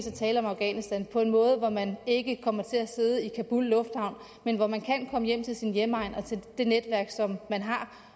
er tale om afghanistan på en måde hvor man ikke kommer til at sidde i kabul lufthavn men hvor man kan komme hjem til sin hjemegn og det netværk som man har